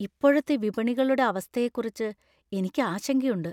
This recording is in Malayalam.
ഇപ്പോഴത്തെ വിപണികളുടെ അവസ്ഥയെക്കുറിച്ച് എനിക്ക് ആശങ്കയുണ്ട്.